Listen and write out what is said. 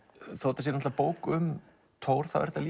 þetta sé bók um Thor er þetta